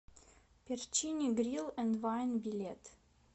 перчини грил энд вайн билет